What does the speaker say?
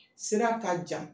Sira k'a jan